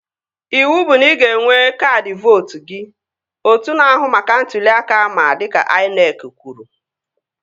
Ịwụ bụ na ị ga-enwe kaadị vootu gị! Otu na-ahụ maka ntụli aka ama dịka INEC kwuru